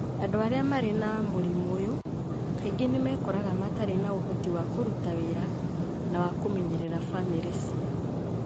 Andũ arĩa marĩ na mũrimũ ũyũ kaingĩ nĩ mekoraga matarĩ na ũhoti wa kũruta wĩra na wa kũmenyerera famĩrĩ ciao,